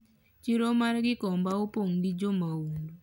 chiro mar gikomba opong gi jomahundu